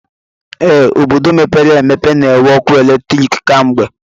Ee, obodo mepere emepe na-enwe ọkụ eletrik kwa mgbe